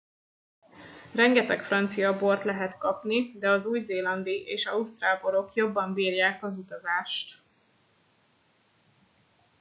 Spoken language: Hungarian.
rengeteg francia bort lehet kapni de az új zélandi és ausztrál borok jobban bírják az utazást